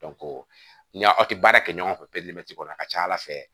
ni aw tɛ baara kɛ ɲɔgɔn fɛ kɔnɔ a ka ca ala fɛ